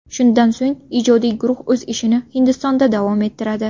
Shundan so‘ng ijodiy guruh o‘z ishini Hindistonda davom ettiradi.